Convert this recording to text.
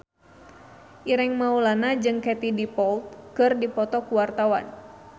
Ireng Maulana jeung Katie Dippold keur dipoto ku wartawan